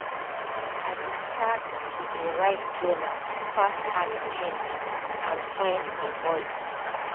i be start to de write journal to pass hard change and find my voice